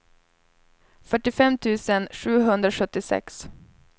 fyrtiofem tusen sjuhundrasjuttiosex